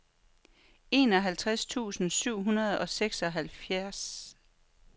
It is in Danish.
enoghalvtreds tusind syv hundrede og seksoghalvfjerds